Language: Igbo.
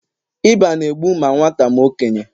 ịba na-egbu ma nwata ma okenye